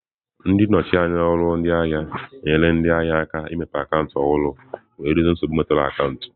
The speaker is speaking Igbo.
Ndị nnọchi anya ọrụ ndị ahịa na-enyere ndị ahịa aka imepe akaụntụ ọhụrụ wee dozie nsogbu metụtara akaụntụ.